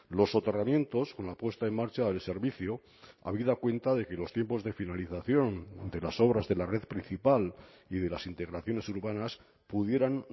los soterramientos con la puesta en marcha del servicio habida cuenta de que los tiempos de finalización de las obras de la red principal y de las integraciones urbanas pudieran